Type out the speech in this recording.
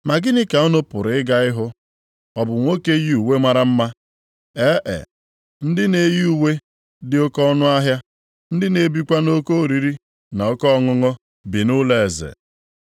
Ma gịnị ka unu pụrụ ịga ịhụ? Ọ bụ nwoke yi uwe mara mma? E e, ndị na-eyi uwe dị oke ọnụahịa, ndị na-ebikwa nʼoke oriri na oke ọṅụṅụ bi nʼụlọeze.